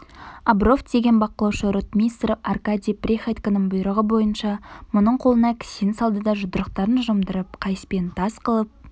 обров деген бақылаушы ротмистр аркадий приходьконың бұйрығы бойынша мұның қолына кісен салды да жұдырықтарын жұмдырып қайыспен тас қылып